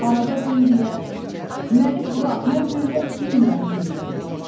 Arada Bəbiyə: "Məni burax, mən böyürə bilmirəm" deyirdi.